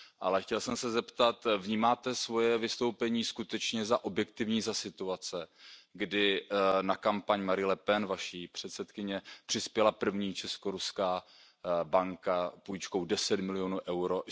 Ale chtěl jsem se zeptat Vnímáte svoje vystoupení skutečně za objektivní za situace, kdy na kampaň Marie Le Penové, Vaší předsedkyně, přispěla první česko ruská banka půjčkou 10 milionů EUR?